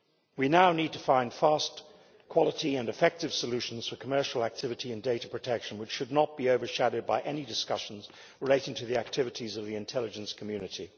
We now need to find fast, quality and effective solutions for commercial activity in data protection, which should not be overshadowed by any discussions relating to the activities of the intelligence community.